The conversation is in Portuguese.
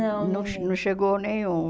Não, não não chegou nenhum.